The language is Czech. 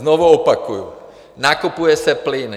Znovu opakuju: nakupuje se plyn!